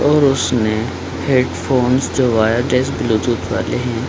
और उसने हैडफ़ोन जो वायरलेस ब्लूटूथ वाले हैं ।